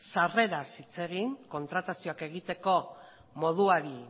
sarreraz hitz egin kontratazioak egiteko moduari